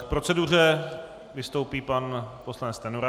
K proceduře vystoupí pan poslanec Stanjura.